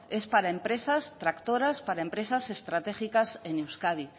es para empresas tractoras para empresas estratégicas en euskadi